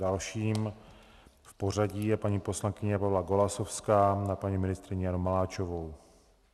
Dalším v pořadí je paní poslankyně Pavla Golasowská na paní ministryni Janu Maláčovou.